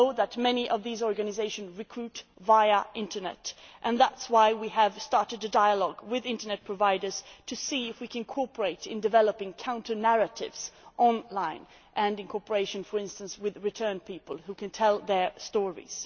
We know that many of these organisations recruit via the internet. That is why we have started a dialogue with internet providers to see if we can cooperate in developing counter narratives online and in cooperation, for instance, with returned people who can tell their stories.